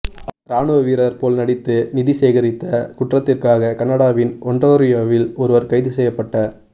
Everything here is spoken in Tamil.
இராணுவ வீரர் போல் நடித்து நிதி சேகரித்த குற்றத்திற்காக கனடாவின் ஒன்றாரியோவில் ஒருவர் கைது செய்யப்பட்